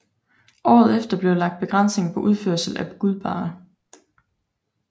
Året efter blev lagt begrænsninger på udførsel af guldbarrer